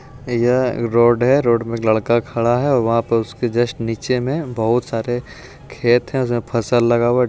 यह एक रोड है रोड में लड़का खड़ा है और वहाँ पे उसके जस्ट नीचे में बहुत सारे खेत हैं जिसमें फसल लगा है।